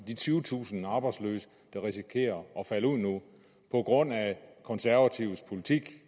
de tyvetusind arbejdsløse der risikerer at falde ud nu på grund af konservatives politik